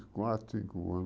Quatro, cinco anos.